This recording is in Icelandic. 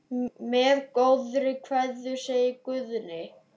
Með góðri kveðju, segir Guðni.